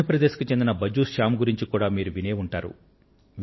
మధ్య ప్రదేశ్ కు చెందిన భజ్జూ శ్యామ్ గారిని గురించి కూడా మీరు వినే ఉంటారు